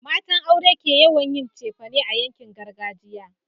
matan aure ke yawon yin cefane a yankin gargajiya